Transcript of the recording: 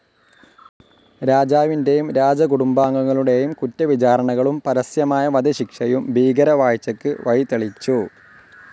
രാജാവിൻ്റെയും രാജകുടുംബാംഗങ്ങളുടെയും കുറ്റവിചാരണകളും പരസ്യമായ വധശിക്ഷയും ഭീകര വാഴ്ചക്ക് വഴിതെളിച്ചു.